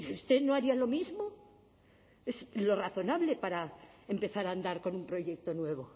usted no haría lo mismo es lo razonable para empezar a andar con un proyecto nuevo